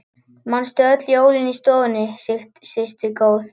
Manstu öll jólin í stofunni systir mín góð.